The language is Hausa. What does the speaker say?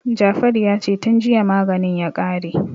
Jafaru ya ce "tun jiya maganin ya kare".